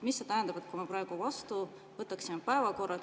Mida see tähendab, kui me võtaksime selle päevakorra vastu?